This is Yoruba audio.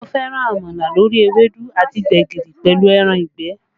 Mo fẹ́ràn àmàlà lórí ewédú àti gbẹ̀gìrì pẹ̀lú ẹran ìgbẹ́